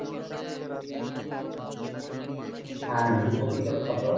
আর দু copy তোর photo